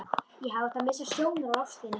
Ég hefði átt að missa sjónar á ástinni.